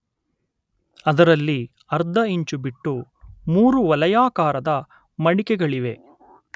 ಅದರಲ್ಲಿ ಅರ್ಧ ಇಂಚು ಬಿಟ್ಟು ಮೂರು ವಲಯಾಕಾರದ ಮಡಿಕೆಗಳಿವೆ.